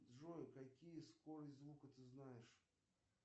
джой какие скорость звука ты знаешь